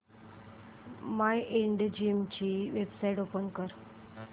Mindgym ची website open कर